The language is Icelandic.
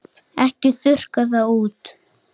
Ekki þurrka það út.